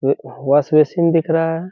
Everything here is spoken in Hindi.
व वाश बेसिन दिख रहा है।